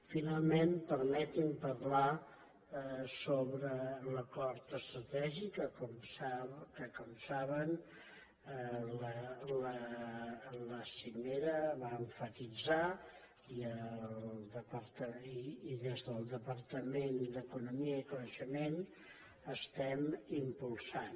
finalment permeti’m parlar sobre l’acord estratègic que com saben la cimera va emfatitzar i des del departament d’economia i coneixement estem impulsant